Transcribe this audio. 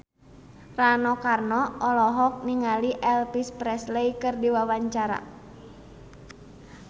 Rano Karno olohok ningali Elvis Presley keur diwawancara